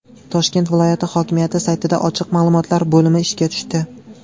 Toshkent viloyati hokimiyati saytida ochiq ma’lumotlar bo‘limi ishga tushdi.